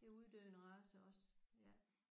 det er en uddøende race også